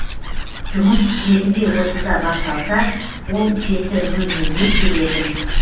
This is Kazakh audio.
жұмыс жеті де отызда басталса ол жеті нөл нөлде келетін